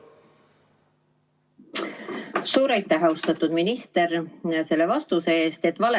Suur aitäh, austatud minister, selle vastuse eest!